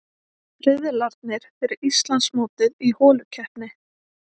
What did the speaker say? Riðlarnir fyrir Íslandsmótið í holukeppni